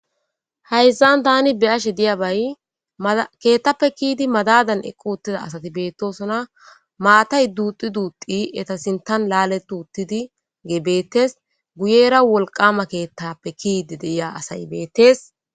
Hayszan tani be ashe diya bay keettappe kiidi madadan equuttida asati beettosona maatay duuxi duuxi eta sintan laale duuttidi gee beettes guyera wolqama keettappe kiidi deiya asay beettes.